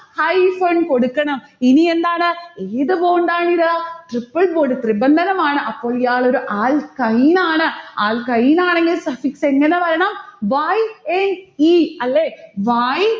hyphen കൊടുക്കണം. ഇനി എന്താണ്? ഏത് bond ആണിത്? triple bond തൃബന്ധനമാണ്. അപ്പോൾ ഇയാളൊരു alkyne ആണ്. alkyne ആണെങ്കിൽ suffix എങ്ങനെ വരണം. y n e അല്ലെ y